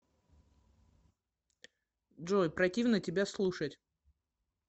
джой противно тебя слушать